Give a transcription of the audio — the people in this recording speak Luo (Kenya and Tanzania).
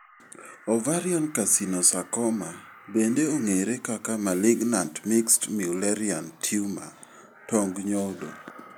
Ovarian carcinosarcoma bende ong'ere kaka malignant mixed mullerian tumor tong nyodo.